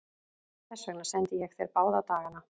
Þess vegna sendi ég þér báða dagana.